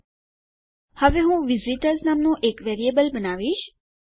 હવે હું શું કરીશહું વિઝિટર્સ નામનું એક વેરિયેબલ બનાવીશ